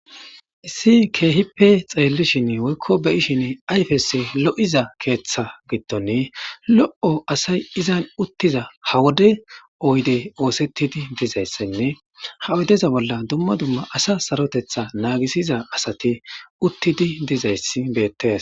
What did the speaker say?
issi keehippe xeellishin woykko beyishin ayfes lo7iza keeththa gittone lo7o asay izan uttiza ha wode oyde oosettidi dizayssenne ha oydeza bolla dumma dumma asa sarotetha naagisiza asati uttidi dizay bette